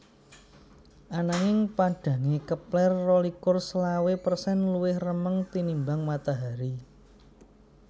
Anangning padhangé Kepler rolikur selawe persen luwih remeng tinimbang Matahari